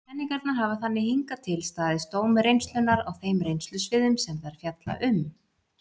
Kenningarnar hafa þannig hingað til staðist dóm reynslunnar á þeim reynslusviðum sem þær fjalla um.